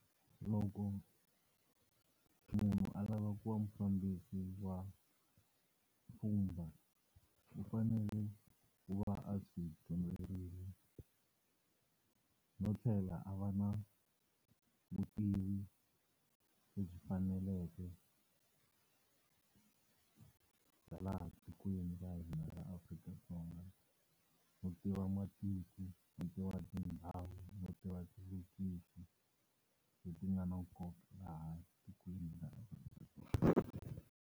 Loko munhu a lava ku va mufambisi wa pfhumba u fanele ku va a swi dyondzerile no tlhela a va na vutivi lebyi faneleke bya laha tikweni ra hina ra Afrika-Dzonga. Ku tiva matiko, ku tiva tindhawu no tiva leti nga nkoka laha tikweni .